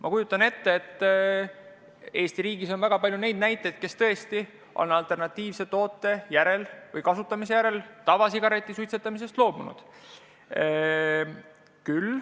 Ma kujutan ette, et Eesti riigis on väga palju inimesi, kes on alternatiivse toote kasutamise järel tavasigareti suitsetamisest loobunud.